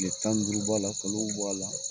Tile tan ni duuru b'a la kalow b' a la